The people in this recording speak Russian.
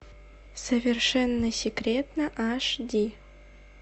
совершенно секретно аш ди